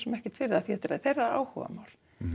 ekkert fyrir það því þetta er þeirra áhugamál